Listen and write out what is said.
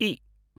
इ